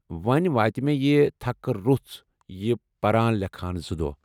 ؤنۍ وٲتہِ مے٘ یہِ تھكہٕ روٚژھ یہِ پران لیكھان زٕ دۄہ ۔